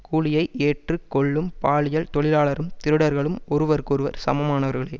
கூலியை ஏற்று கொள்ளும் பாலியல் தொழிலாளரும் திருடர்களும் ஒருவருக்கொருவர் சமமானவர்களே